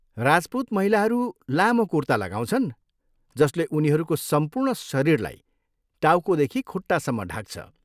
राजपुत महिलाहरू लामो कुर्ता लगाउँछन् जसले उनीहरूको सम्पूर्ण शरीरलाई टाउकोदेखि खुट्टासम्म ढाक्छ।